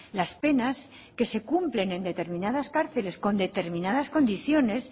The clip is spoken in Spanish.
las penas que se cumplen en determinadas cárceles con determinadas condiciones